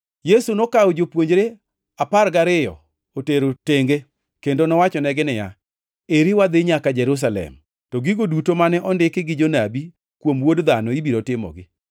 Yesu nokawo jopuonjre apar gariyo otero tenge kendo nowachonegi niya, “Eri wadhi nyaka Jerusalem, to gigo duto mane ondiki gi jonabi kuom Wuod Dhano ibiro timogi.